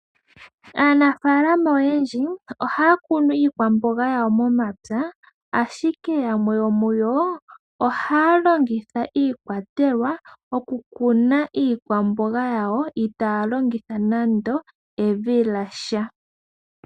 Aanafaalama oyendji ohaya kunu iikwamboga yawo momapya. Ashike yamwe ohaya longitha iikwatelwa okukuna iikwamboga yawo, ita ya longitha nando evi lyasha.